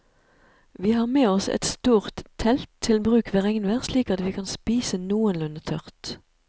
Vi har med oss et stort telt til bruk ved regnvær slik at vi kan spise noenlunde tørt.